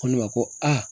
Ko ne ma ko a